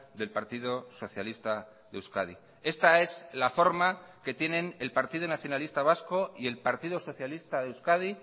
del partido socialista de euskadi esta es la forma que tienen el partido nacionalista vasco y el partido socialista de euskadi